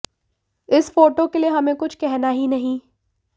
इस फोटो के लिए हमें कुछ कहना ही नहीं